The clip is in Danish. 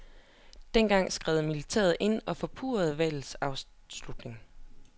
Dengang skred militæret ind og forpurrede valgets afslutning.